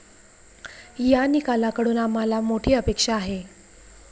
या निकालाकडून आम्हाला मोठी अपेक्षा आहे.